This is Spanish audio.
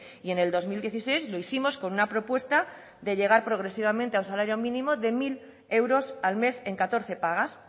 y en el dos mil dieciséis lo hicimos con una propuesta de llegar progresivamente a un salario mínimo de mil euros al mes en catorce pagas